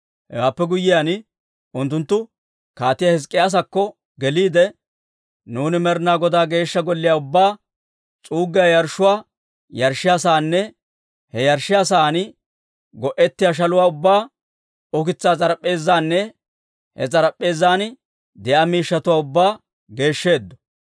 Hewaappe guyyiyaan, unttunttu Kaatiyaa Hizk'k'iyaasakko geliide, «Nuuni Med'inaa Godaa Geeshsha Golliyaa ubbaa, s'uuggiyaa yarshshuwaa yarshshiyaa saanne he yarshshiyaa sa'aan go'ettiyaa shaluwaa ubbaa, ukitsaa s'arap'p'eezaanne he s'arp'p'eezan de'iyaa miishshatuwaa ubbaa geeshsheeddo.